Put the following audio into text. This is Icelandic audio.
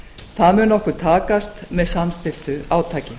það mun okkur takast með samstilltu átaki